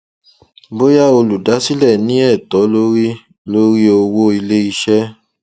bóyá olùdásílẹ ní ẹtọ lórí lórí owó iléiṣẹ